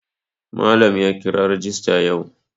Malam ya kira rajista yau.